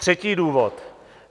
Třetí důvod.